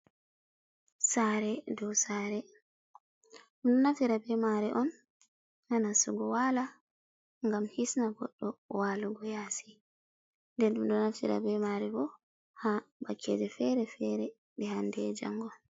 Saare dou saare ɗum ɗo naftira be masre on ha nastugo waala ngam hisna goɗɗo waalugo yassi den ɗum ɗo naftira be maare bo ha wakkeje feere feere ɗe handei e jango.